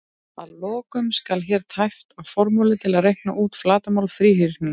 Að lokum skal hér tæpt á formúlu til að reikna út flatarmál þríhyrnings: